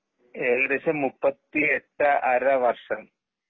ഏകദേശം മുപ്പത്തി എട്ടര വർഷം.